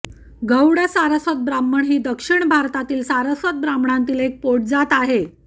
गौड सारस्वत ब्राह्मण ही दक्षिण भारतातील सारस्वत ब्राह्मणांतील एक पोटजात आहे